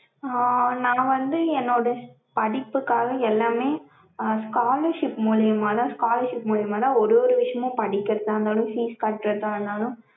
ஆஹ் நா வந்து என்னோட படிப்புக்காக எல்லாமே scholarship மூலியமாதான் scholarship மூலியமாதான் ஒரு ஒரு விஷயமும் படிகிறதா இருந்தாலும் fees கற்றதா இருந்தாலும்